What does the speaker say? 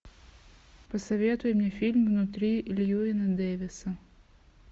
посоветуй мне фильм внутри льюина дэвиса